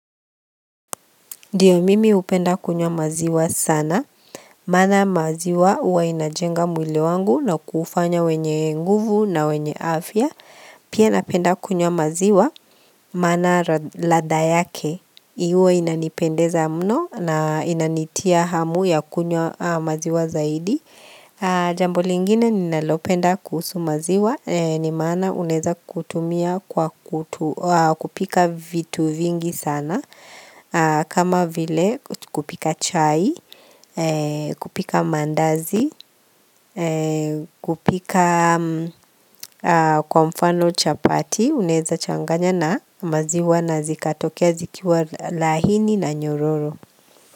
Dio mimi hupenda kunywa maziwa sana, maana maziwa uwa inajenga mwili wangu na kufanya wenye nguvu na wenye afya, pia napenda kunywa maziwa maana ladha yake, huwa inanipendeza mno na inanitia hamu ya kunywa maziwa zaidi. Jambo lingine ninalopenda kuhusu maziwa Nimaana unaeza kutumia kwa kupika vitu vingi sana kama vile kupika chai, kupika mandazi, kupika kwa mfano chapati Unaeza changanya na maziwa na zikatokea zikiwa lahini na nyororo.